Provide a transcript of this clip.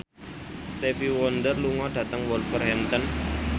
Stevie Wonder lunga dhateng Wolverhampton